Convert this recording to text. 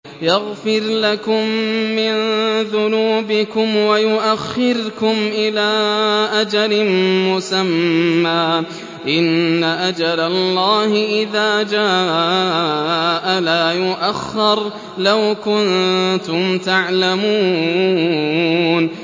يَغْفِرْ لَكُم مِّن ذُنُوبِكُمْ وَيُؤَخِّرْكُمْ إِلَىٰ أَجَلٍ مُّسَمًّى ۚ إِنَّ أَجَلَ اللَّهِ إِذَا جَاءَ لَا يُؤَخَّرُ ۖ لَوْ كُنتُمْ تَعْلَمُونَ